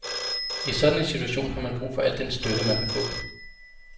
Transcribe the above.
I sådan en situation har man brug for al den støtte, man kan få.